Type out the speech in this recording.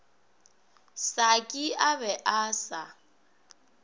saki a be a sa